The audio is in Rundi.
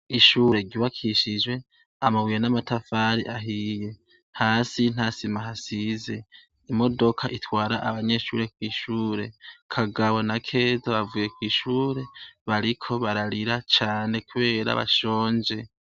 Ishure ryubakishijwe, amabuye n'amatafari ahiye. Hasi nta sima hasize. Imodoka itwara abanyeshure kw'ishure. Kagabo na Keza bavuye kw'ishure, bariko bararira cane kubera bashonje.